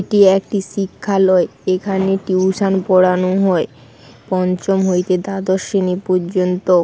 এটি একটি শিক্ষালয় এখানে টিউশন পড়ানো হয় পঞ্চম হইতে দ্বাদশ শ্রেণী পর্যন্ত।